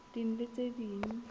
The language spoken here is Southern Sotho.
ding le tse ding tse